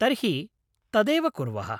तर्हि तदेव कुर्वः